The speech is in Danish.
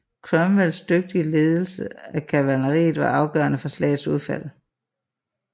Cromwells dygtige ledelse af kavaleriet var afgørende for slagets udfald